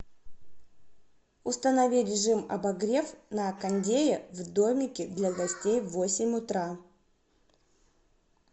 установи режим обогрев на кондее в домике для гостей в восемь утра